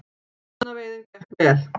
Rjúpnaveiðin gekk vel